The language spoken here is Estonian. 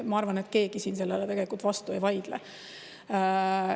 Ma arvan, et keegi sellele vastu ei vaidle.